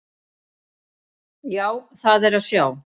Já, það er að sjá.